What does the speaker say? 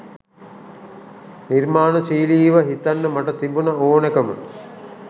නිර්මාණශීලීව හිතන්න මට තිබුණ ඕනෑකම